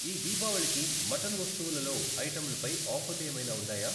ఈ దీపావళికి మటన్ వస్తువుల లో ఐటంలపై ఆఫర్లు ఏమైనా ఉన్నాయా?